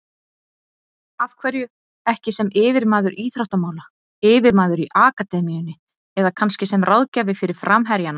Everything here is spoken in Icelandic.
Af hverju ekki sem yfirmaður íþróttamála, yfirmaður í akademíunni eða kannski sem ráðgjafi fyrir framherjana?